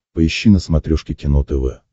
поищи на смотрешке кино тв